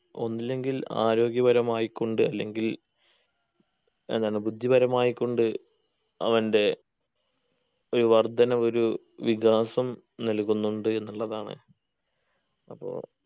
ഒന്നില്ലെങ്കിൽ ആരോഗ്യപരമായി കൊണ്ട് അല്ലെങ്കിൽ എന്താണ് ബുദ്ധിപരമായക്കൊണ്ട് അവൻ്റെ ഒരു വർധനവൊരു വികാസം നൽകുന്നുണ്ട് എന്നുള്ളതാണ് അപ്പൊ